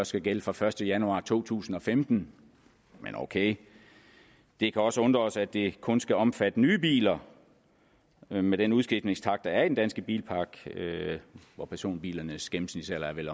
skal gælde fra første januar to tusind og femten men ok det kan også undre os at det kun skal omfatte nye biler med med den udskiftningstakt der er af den danske bilpark hvor personbilernes gennemsnitsalder vel